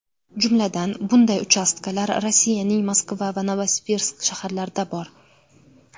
Jumladan, bunday uchastkalar Rossiyaning Moskva va Novosibirsk shaharlarida bor.